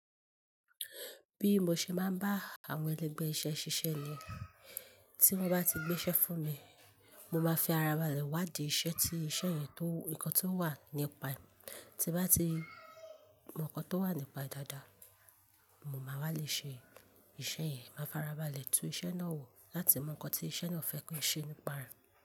Bí mo ṣe máa ń bá àwọn ẹlẹgbẹ́ iṣẹ́ ṣiṣẹ́ ni tí wọ́n bá ti gbé iṣẹ́ fún mi, mo máa fi ara balẹ̀ wá di iṣẹ́ tí iṣẹ́ yẹn tó, nǹkan tí ó wà nípa ẹ̀. Tí n bá ti mọ nǹkan tó wà nípa ẹ̀ dáadáa, mo máa wá lè ṣe e iṣẹ́ yẹn, máa fara balẹ̀ tu iṣẹ́ náà wò láti mọ nǹkan tí iṣẹ́ náà fẹ́ kan ṣe nípa rẹ̀